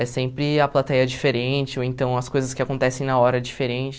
É sempre a plateia diferente, ou então as coisas que acontecem na hora diferente.